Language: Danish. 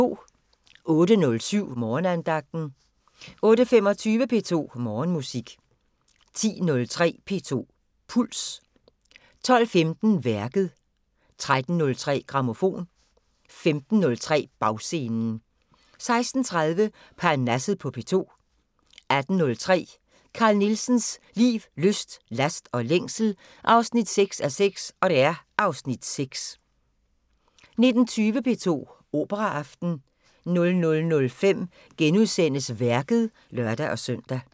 08:07: Morgenandagten 08:25: P2 Morgenmusik 10:03: P2 Puls 12:15: Værket 13:03: Grammofon 15:03: Bagscenen 16:30: Parnasset på P2 18:03: Carl Nielsens liv, lyst, last og længsel 6:6 (Afs. 6) 19:20: P2 Operaaften 00:05: Værket *(lør-søn)